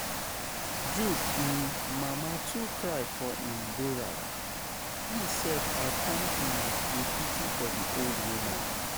Jude um mama too cry for im bural, me sef I come um dey pity for the old woman